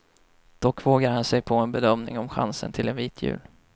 Dock vågar han sig på en bedömning om chansen till en vit jul.